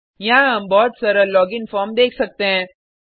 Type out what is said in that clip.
यहाँ हम बहुत सरल लॉगिन फॉर्म देख सकते हैं